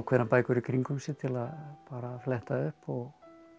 ákveðnar bækur í kringum sig til að fletta upp og